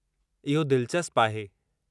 इहो दिलचस्पु आहे।